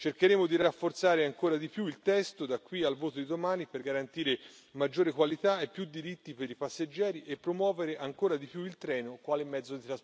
Cercheremo di rafforzare ancora di più il testo, da qui al voto di domani, per garantire maggiore qualità e più diritti per i passeggeri e promuovere ancora di più il treno quale mezzo di trasporto.